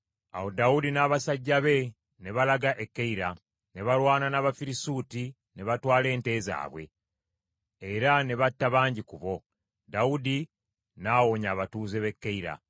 Awo Dawudi n’abasajja be ne balaga e Keyira, ne balwana n’Abafirisuuti, ne batwala ente zaabwe, era ne batta bangi ku bo. Dawudi n’awonya abatuuze b’e Keyira.